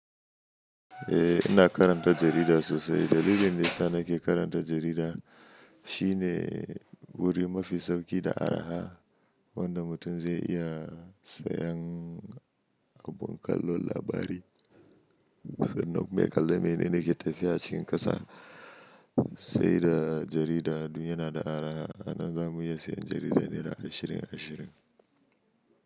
Eh ina karanta jarida sosai dalilin da yana ke karanta jarida shine wuri mafi sauƙi da araha wanda mutum zai iya sayan abun kallo labari. Duk da duk meƙalla mai ne ne ke tafiya a cikin ƙasa sai da jarida, duniyar na da araha ana gamuwa sayan jarida naira ashirin, ashirin.